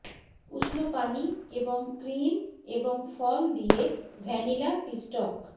উষ্ণ পানি এবং ক্রিম এবং ফল দিয়ে ভ্যানিলা পিষ্টক